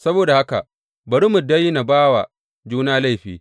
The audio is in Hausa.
Saboda haka bari mu daina ba wa juna laifi.